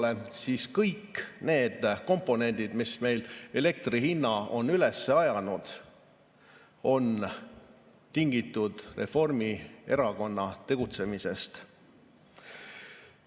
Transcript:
Kui me vaatame tagasi, siis kõik need komponendid, mis meil elektri hinna on üles ajanud, on tingitud Reformierakonna tegutsemisest.